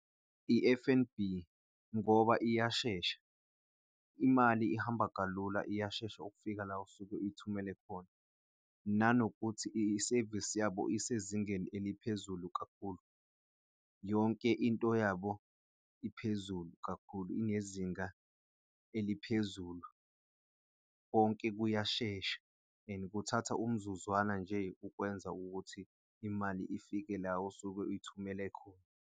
I-F_N_B ngoba iyashesha, imali ihamba kalula, iyashesha ukufika la usuke uyithumele khona nanokuthi isevisi yabo isezingeni eliphezulu kakhulu. Yonke into yabo iphezulu kakhulu, ingezinga eliphezulu. Konke kuyashesha and kuthatha umzuzwana nje ukwenza ukuthi imali ifike la usuke uyithumele khona.